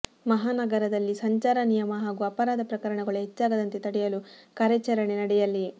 ಮಹಾನಗರದಲ್ಲಿ ಸಂಚಾರ ನಿಯಮ ಹಾಗೂ ಅಪರಾಧ ಪ್ರಕರಣಗಳು ಹೆಚ್ಚಾಗದಂತೆ ತಡೆಯಲು ಕಾರ್ಯಾಚರಣೆ ನಡೆಯಲಿ